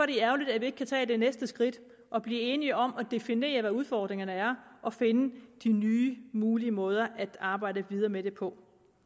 det ærgerligt at vi ikke kan tage det næste skridt og blive enige om at definere hvad udfordringerne er og finde de nye mulige måder at arbejde videre med det på